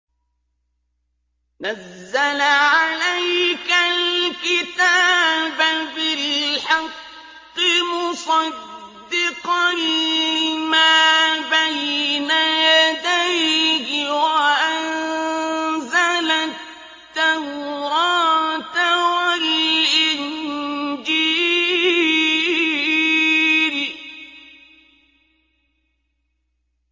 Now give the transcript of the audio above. نَزَّلَ عَلَيْكَ الْكِتَابَ بِالْحَقِّ مُصَدِّقًا لِّمَا بَيْنَ يَدَيْهِ وَأَنزَلَ التَّوْرَاةَ وَالْإِنجِيلَ